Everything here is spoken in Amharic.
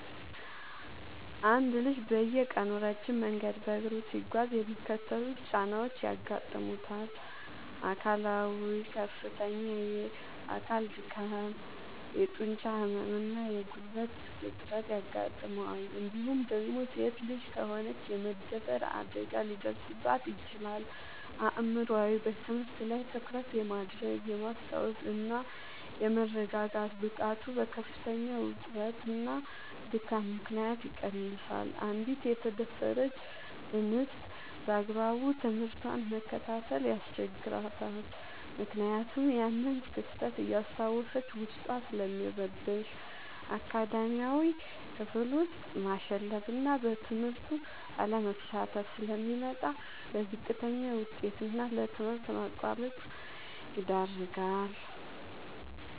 አንድ ልጅ በየቀኑ ረጅም መንገድ በእግሩ ሲጓዝ የሚከተሉት ጫናዎች ያጋጥሙታል፦ አካላዊ፦ ከፍተኛ የአካል ድካም፣ የጡንቻ ህመም እና የጉልበት እጥረት ያጋጥመዋል እንዲሁም ደግሞ ሴት ልጅ ከሆነች የመደፈር አደጋ ሊደርስባት ይችላል። አእምሯዊ፦ በትምህርት ላይ ትኩረት የማድረግ፣ የማስታወስ እና የመረጋጋት ብቃቱ በከፍተኛ ውጥረትና ድካም ምክንያት ይቀንሳል: አንዲት የተደፈረች እንስት ባግባቡ ትምህርቷን መከታተል ያስቸግራታል ምክንያቱም ያንን ክስተት እያስታወሰች ዉስጧ ስለሚረበሽ። አካዳሚያዊ፦ ክፍል ውስጥ ማሸለብና በትምህርቱ አለመሳተፍ ስለሚመጣ: ለዝቅተኛ ውጤት እና ለትምህርት ማቋረጥ ይዳረጋል።